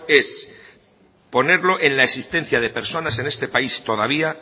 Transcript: es ponerlo en la existencia de personas en este país todavía